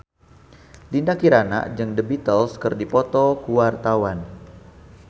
Dinda Kirana jeung The Beatles keur dipoto ku wartawan